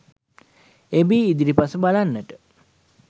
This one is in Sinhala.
එබී ඉදිරිපස බලන්නට